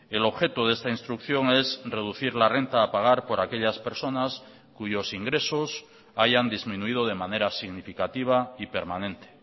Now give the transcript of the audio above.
el objeto de esta instrucción es reducir la renta a pagar por aquellas personas cuyos ingresos hayan disminuido de manera significativa y permanente